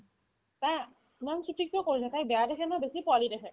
ইমান ছুটি কিয় কৰিলে তাইক বেয়া দেখে ন বেছি পোৱালি দেখে